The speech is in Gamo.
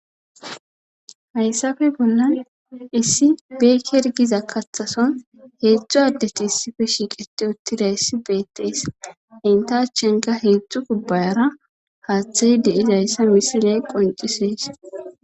hayssafe bollan issi beekergiza kathason heedzdzu addeti issife shiiqete uttida issi beettees hentachenga heedzdzu gubbayara haaththayi deizayssa misile qoncisees